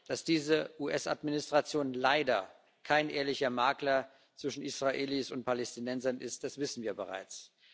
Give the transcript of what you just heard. Dass diese US Administration leider kein ehrlicher Makler zwischen Israelis und Palästinensern ist, wissen wir bereits.